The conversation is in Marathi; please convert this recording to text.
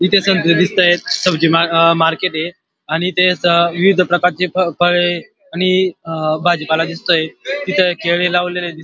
इथ सबजी दिसता सबजी मार्केट य आणि ते विविध प्रकारचे फळे आणि भाजीपाला दिसतय इथ केळी लावलेल्या दिसतय.